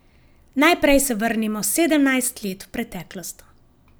Najprej se vrnimo sedemnajst let v preteklost.